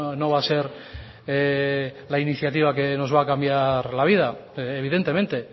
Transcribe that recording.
no va a ser la iniciativa que nos va a cambiar la vida evidentemente